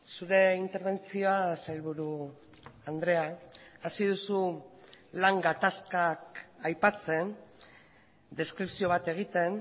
zure interbentzioa sailburu andrea hasi duzu lan gatazkak aipatzen deskripzio bat egiten